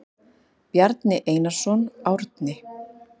Bjarni Einarsson, Árni.